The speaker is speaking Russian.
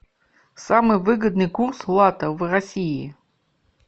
самый выгодный курс лата в россии